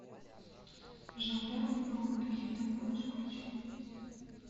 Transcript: жандарма на отдыхе ты можешь включить